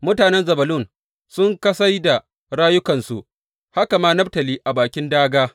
Mutanen Zebulun sun kasai da rayukansu; haka ma Naftali a bakin dāgā.